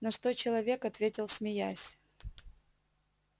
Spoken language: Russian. на что человек ответил смеясь